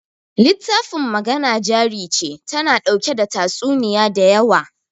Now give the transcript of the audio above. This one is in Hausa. littafin Magana Jari Ce tana ɗauke da tatsuniya da yawa.